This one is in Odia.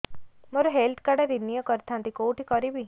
ମୋର ହେଲ୍ଥ କାର୍ଡ ରିନିଓ କରିଥାନ୍ତି କୋଉଠି କରିବି